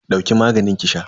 Dauki maganin ki sha